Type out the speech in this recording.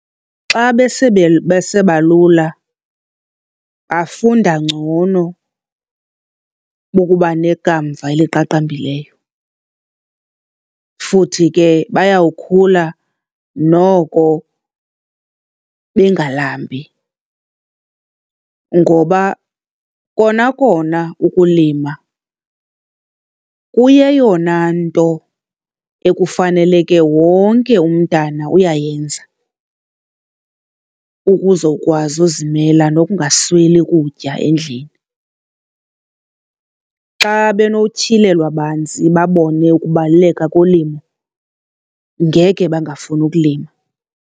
Xa besebalula bafunda ngcono bokuba nekamva eliqaqambileyo futhi ke bayawukhula noko bengalambi ngoba kona kona ukulima kuyeyona nto ekufaneleke wonke umntana uyayenza ukuzokwazi uzimela nokungasweli kutya endlini. Xa benotyhilelwa banzi babone ukubaluleka kolimo, ngekhe bangafuni ukulima.